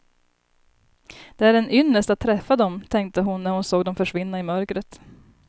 Det är en ynnest att träffa dem, tänkte hon när hon såg dem försvinna i mörkret.